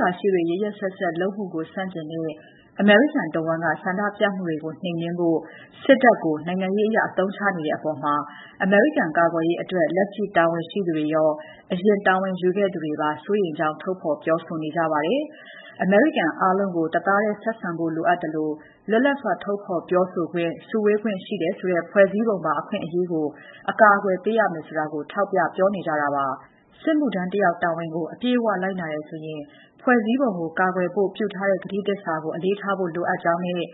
ရာရှိတွေ ရက်ရက်စက်စက် လုပ်မှုကို ဆန့်ကျင်တဲ့ အမေရိကန်တဝန်းက ဆန္ဒပြမှုတွေကိုနှိမ်နှင်းဖို့ စစ်တပ်ကို နိုင်ငံရေးအရ အသုံးချနေတဲ့အပေါ် အမေရိကန်ကာကွယ်ရေးဆိုင်ရာ လက်ရှိတာဝန်ရှိသူတွေရော အရင်တာဝန်ယူခဲ့သူတွေကပါ စိုးရိမ်ကြောင်း ထုတ်ဖော်ပြောဆိုနေကြပါတယ်။ အမေရိကန်အားလုံးကို တသားထည်းဆက်ဆံဖို့ လိုအပ်သလို လွတ်လပ်စွာ ထုတ်ဖော်ပြောဆိုခွင့် စုဝေးခွင့်ရှိတယ်ဆိုတဲ့ ဖွဲ့စည်းပုံပါ အခွင့်အရေးကို အကာအကွယ်ပေးရမယ်ဆိုတာကို ထောက်ပြနေကြတာပါ။ စစ်မှုထမ်းတယောက် တာဝန်ကို အပြည့်အဝ လိုက်နာတယ်ဆိုရင်ဖွဲ့စည်းပုံကို ကာကွယ်ဖို့ ပြုထားတဲ့ ကတိသစ္စာကို အလေးထားဖို့လိုအပ်ကြောင်းနဲ့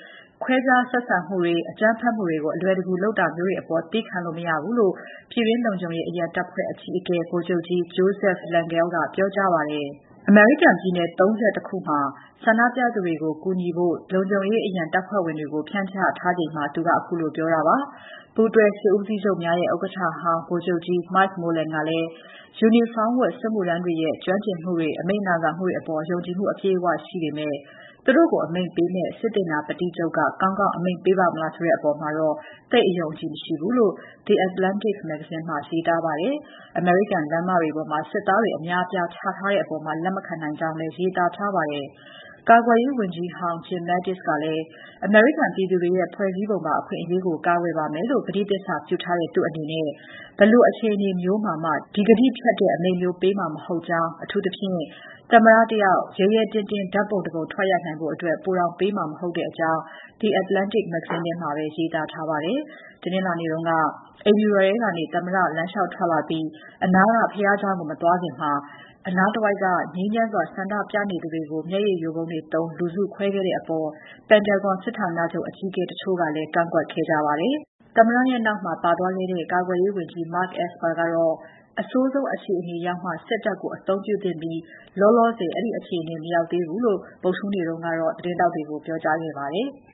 ခွဲခြားဆက်ဆံမှုတွေ အကြမ်းဖက်မှုကို အလွယ်တကူ လုပ်တာမျိုးတွေအပေါ် သည်းခံလို့ မရဘူးလို့ ပြည်တွင်းလုံခြုံရေး အရန်တပ်ဖွဲ့အကြီးအကဲ ဗိုလ်ချုပ်ကြီး Joseph Lengyel ကပြောကြားပါတယ်။ အမေရိကန်ပြည်နယ် ၃၁ မှာ ဆန္ဒပြမှုတွေကို ကူညီထိန်းဖို့ ပြည်တွင်း လုံခြုံရေးအရန်တပ်ဖွဲ့တွေကို ဖြန့်ချထားချိန်မှာ သူကခုလိုပြောခဲ့တာပါ။ ပူးတွဲစစ်ဦးစီးချုပ်များရဲ့ ဥက္ကဋ္ဌဟောင်း Mike Mullen ကလည်း ယူနီဖောင်းဝတ် စစ်မှုထမ်းတွေရဲ့ ကျွမ်းကျင်မှု အမိန့်နာခံမှုအပေါ် ယုံကြည်မှု အပြည့်အဝရှိပေမဲ့ သူတို့ကိုအမိန့်ပေးမယ့် စစ်သေနာပတိချုပ်က ကောင်းကောင်းအမိန့်ပေးပါ့မလားဆိုတဲ့အပေါ်တော့ သိပ်အယုံအကြည်မရှိဘူးလို့ The Atlantic မဂ္ဂဇင်းမှာ ရေးသားခဲ့ပါတယ်။ အမေရိကန်လမ်းမတွေပေါ်မှာ စစ်သားတွေအများအပြားချထားတဲ့အပေါ် သူလက်မခံနိုင်ကြောင်းလည်း ရေးသားထားပါတယ်။ ကာကွယ်ရေးဝန်ကြီးဟောင်း Jim Mattis ကလည်း အမေရိကန်ပြည်သူတွေရဲ့ ဖွဲ့စည်းပုံပါအခွင့်အရေးကို ကာကွယ်ပါမယ်လို့ ကတိသစ္စာပြုထားတဲ့ သူ့အနေနဲ့ ဘယ်လိုအခြေအနေမျိုးနဲ့မှ ဒီကတိဖျက်တဲ့ အမိန့်မျိုး ပေးမှာ မဟုတ်ကြောင်း အထူးသဖြင့် သမ္မတ တယောက် ရဲရဲတင်တင်း ဓာတ်ပုံတပုံရိုက်နိုင်ဖို့အတွက် ပိုတောင်ပေးမှာ မဟုတ်ကြောင်း The Atlantic မဂ္ဂဇင်းထဲမှာပဲ ရေးသားထားပါတယ်။ တနင်္လာနေ့တုန်းက အိမ်ဖြူတော်ထဲကနေ သမ္မတ လမ်းလေ ျှာက်ထွက်လာပြီး အနားက ဘုရားကျောင်းကို မသွားခင် အနားတဝိုက် ငြိမ်းချမ်းစွာဆန္ဒပြနေသူတွေကို မျက်ရည်ယိုဗုံးတွေသုံးလူစုခွဲခဲ့တဲ့အပေါ် Pentagon စစ်ဌာနချုပ်အကြီးအကဲတချို့က ကန့်ကွက်ခဲ့ကြပါတယ်။ သမ္မတရဲ့နောက်မှာ ကာကွယ်ရေးဝန်ကြီး Mark Esper လည်း ပါပါတယ်။ကာကွယ်ရေးဝန်ကြီး Esper ကတော့ အဆိုးဆုံးအခြေအနေရောက်မှ စစ်တပ်ကို အသုံးပြုသင့်ပြီး လောလောဆယ် အဲဒီအခြေအနေ မရောက်သေးဘူးလို့ ဗုဒ္ဓဟူးနေ့က သတင်းထောက်တွေကို ပြောကြားခဲ့ပါတယ်။